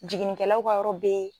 Jiginnikɛlaw ka yɔrɔ be ye